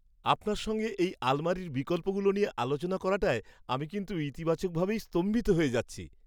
আপনার সঙ্গে এই আলমারির বিকল্পগুলো নিয়ে আলোচনা করাটায় আমি কিন্তু ইতিবাচকভাবেই স্তম্ভিত হয়ে যাচ্ছি।